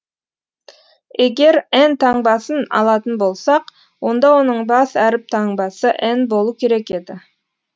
егер эн таңбасын алатын болсақ онда оның бас әріп таңбасы эн болу керек еді